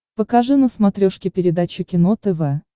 покажи на смотрешке передачу кино тв